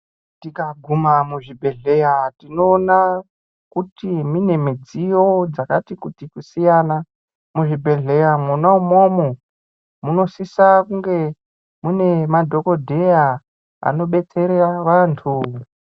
Tikaguma muzvibhedhlera tinoona kuti mune midziyo dzakati kuti kusiyana muzvibhedhlera Mona imomo Munosisa kunge mune madhokodheya abobetsera vantu.